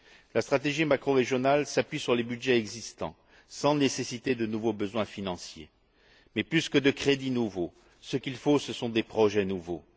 La stratégie macrorégionale s'appuie sur les budgets existants sans nécessiter de nouveaux moyens financiers. Plus que de crédits nouveaux, ce qu'il faut, ce sont des projets nouveaux.